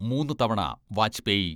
മൂന്നു തവണ വാജ്പേയി.